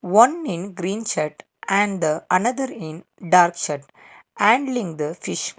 one in green shirt and another in dark shirt handling the fish.